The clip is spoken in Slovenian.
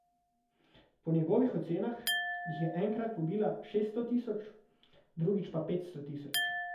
Po njegovih ocenah jih je enkrat pobila šeststo tisoč, drugič petsto tisoč.